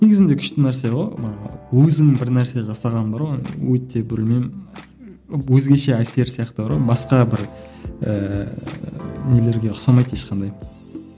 негізінде күшті нәрсе ғой мына өзің бір нәрсе жасаған бар ғой өте білмеймін өзгеше әсер сияқты бар ғой басқа бір ііі нелерге ұқсамайды ешқандай